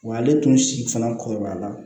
Wa ale tun si fana kɔrɔbaya la